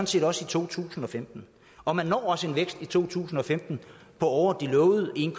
set også i to tusind og femten og man når også en vækst i to tusind og femten på over de lovede en